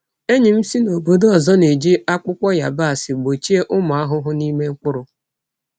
Enyi m si n’obodo ọzọ na-eji akpụkpọ yabasị gbochie ụmụ ahụhụ n’ime mkpụrụ.